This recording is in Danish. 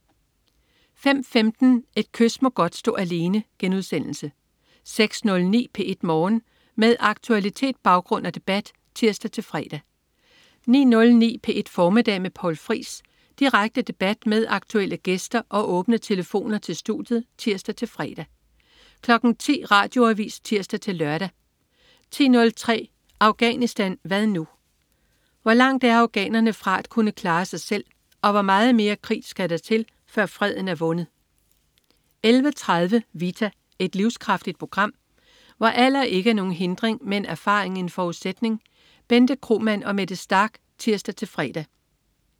05.15 Et kys må godt stå alene* 06.09 P1 Morgen. Med aktualitet, baggrund og debat (tirs-fre) 09.09 P1 Formiddag med Poul Friis. Direkte debat med aktuelle gæster og åbne telefoner til studiet (tirs-fre) 10.00 Radioavis (tirs-lør) 10.03 Afghanistan hvad nu? Hvor langt er afghanerne fra at kunne klare sig selv, og hvor meget mere krig skal der til, før freden er vundet? 11.30 Vita. Et livskraftigt program, hvor alder ikke er nogen hindring, men erfaring en forudsætning. Bente Kromann og Mette Starch (tirs-fre)